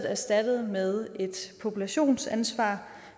og erstattet med et populationsansvar